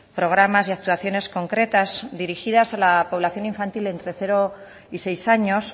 programas y actuaciones concretas dirigidas a la población infantil entre cero y seis años